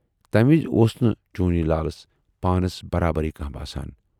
تمہِ وِزِ اوس نہٕ چونی لالس پانس برابرے کانہہ باسان۔